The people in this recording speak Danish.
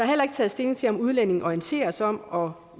heller ikke taget stilling til om udlændinge orienteres om og